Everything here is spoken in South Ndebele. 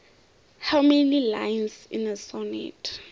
how many lines in a sonnet